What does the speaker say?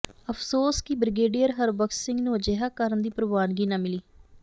ਅਫ਼ਸੋਸ ਕਿ ਬ੍ਰਿਗੇਡੀਅਰ ਹਰਬਖ਼ਸ਼ ਸਿੰਘ ਨੂੰ ਅਜਿਹਾ ਕਰਨ ਦੀ ਪ੍ਰਵਾਨਗੀ ਨਾ ਮਿਲੀ